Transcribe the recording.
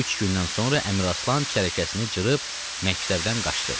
Üç gündən sonra Əmiraslan çərəkəsini cırıb məktəbdən qaçdı.